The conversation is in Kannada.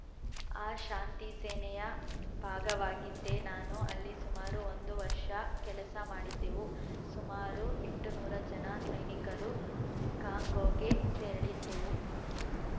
ಆ ಶಾಂತಿಸೇನೆಯ ಭಾಗವಾಗಿದ್ದೆ ನಾನು ಅಲ್ಲಿ ಸುಮಾರು ಒಂದು ವರ್ಷ ಕೆಲಸ ಮಾಡಿದ್ದೆವು ಸುಮಾರು ಎಂಟುನೂರ ಜನ ಸೈನಿಕರು ಕಾಂಗೋಗೆ ತೆರಳಿದ್ದೆವು